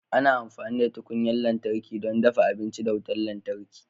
Ana amfani da tukunyar lantarki don dafa abinci da wutar lantarki.